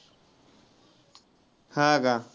हा का.